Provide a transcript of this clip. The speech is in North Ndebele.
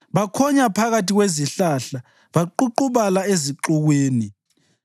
Bakhonya phakathi kwezihlahla baququbala ezixukwini.